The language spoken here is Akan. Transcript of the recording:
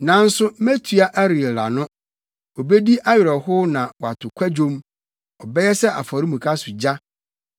Nanso metua Ariel ano; obedi awerɛhow na wato kwadwom, ɔbɛyɛ sɛ afɔremuka so gya.